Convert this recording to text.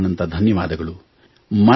ಅನಂತಾನಂತ ಧನ್ಯವಾದಗಳು